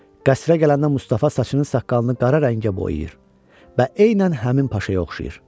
Qəsrə gələndə Mustafa saçını saqqalını qara rəngə boyayır və eynən həmin paşaya oxşayır.